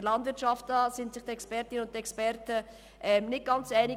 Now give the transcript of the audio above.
Bei der Landwirtschaft sind sich die Expertinnen und Experten nicht ganz einig.